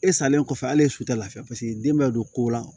E salen kɔfɛ ale ye su tɛ lafiya paseke den bɛ don ko la